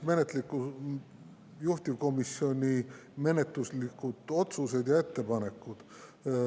Juhtivkomisjoni menetluslikud otsused ja ettepanekud.